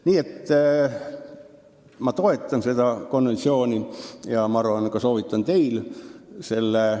Niisiis, mina toetan seda konventsiooni ja soovitan ka teil seda teha.